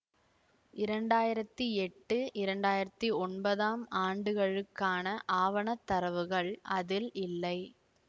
இரண்டாயிரத்தி எட்டு இரண்டாயிரத்தி ஒன்பதாம் ஆண்டுகளுக்கான ஆவண தரவுகள் அதில் இல்லை